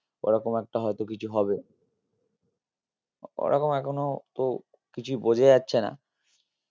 ওরকম একটা হয়তো কিছু হবে ওরকম এখনো তো কিছুই বোঝা যাচ্ছে না